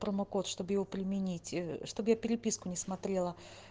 промокод чтобы его применить чтобы я переписку не смотрела